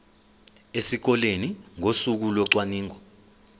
esikoleni ngosuku locwaningo